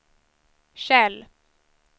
Kjell